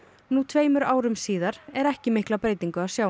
nú tveimur árum síðar er ekki mikla breytingu að sjá